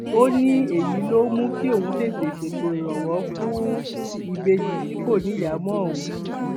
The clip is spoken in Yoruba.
ó ní èyí ló mú kí òun tètè ṣètò ìrànwọ fáwọn ìbejì tí kò níyàá mọ ohun